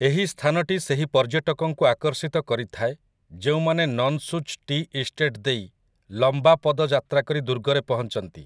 ଏହି ସ୍ଥାନଟି ସେହି ପର୍ଯ୍ୟଟକଙ୍କୁ ଆକର୍ଷିତ କରିଥାଏ ଯେଉଁମାନେ ନନ୍‌ସୁଚ୍ ଟି ଇଷ୍ଟେଟ୍ ଦେଇ ଲମ୍ବାପଦଯାତ୍ରାକରି ଦୁର୍ଗରେ ପହଞ୍ଚନ୍ତି ।